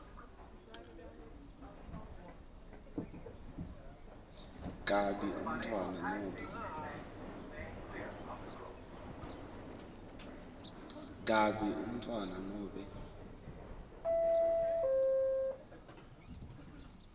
kabi umntfwana nobe